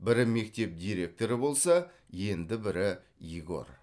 бірі мектеп директоры болса енді бірі егор